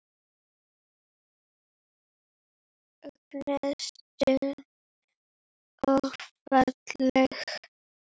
Mögnuð stund og falleg.